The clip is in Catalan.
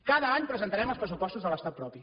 cada any presentarem els pressupostos de l’estat propi